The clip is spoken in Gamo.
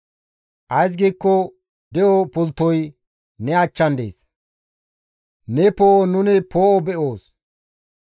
Ays giikko de7o pulttoy ne achchan dees; ne poo7on nuni poo7o be7oos.